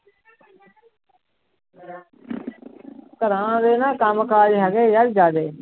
ਘਰਾਂ ਦੇ ਨਾ ਕੰਮ ਕਾਜ ਹੈਗੇ ਯਾਰ ਜ਼ਿਆਦੇ।